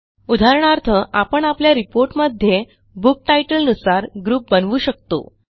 उदाहरणार्थ आपण आपल्या reportमध्ये बुक टायटलनुसार ग्रुप बनवू शकतो